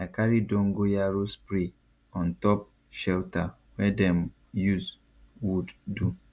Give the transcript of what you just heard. i carry dogonyaro spray on top shelter wey dem use wood do